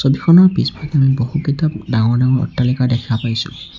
ছবিখনৰ পিছফালে বহুকেইটা ডাঙৰ ডাঙৰ অট্টালিকা দেখা পাইছোঁ।